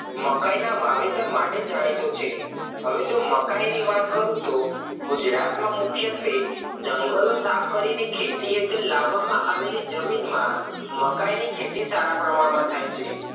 મકાઇ ના વાવેતર માટે જાણીતું છે હવે જો મકાઈની વાત કરું તો ગુજરાત માં મુખત્વે જંગલો સાફ કરી ખેતી હેઠળ લાવવામાં આવેલી જમીનમાં મકાઇ ની ખેતી સારા પ્રમાણ માં થાય છે